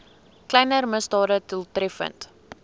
kleiner misdade doeltreffend